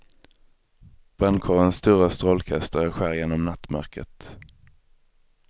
Brandkårens stora strålkastare skär genom nattmörkret.